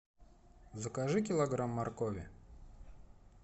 закажи килограмм моркови